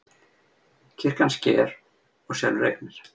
Kirkjan sker og selur eignir